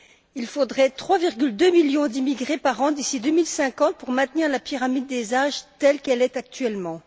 Il faudrait 3,2 millions d'immigrés par an d'ici 2050 pour maintenir la pyramide des âges telle qu'elle est actuellement.